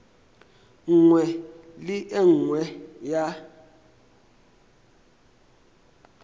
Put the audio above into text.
nngwe le e nngwe ya